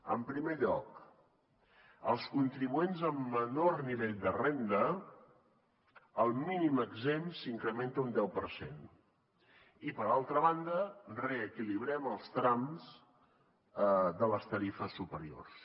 en primer lloc als contribuents amb menor nivell de renda el mínim exempt s’incrementa un deu per cent i per altra banda reequilibrem els trams de les tarifes superiors